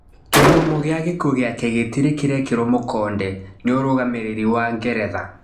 Kĩhumo gĩa gĩkuũ gĩake gĩtĩrĩ kĩrekĩrwo mũkonde nĩ ũrũgamĩrĩri wa Ngeretha.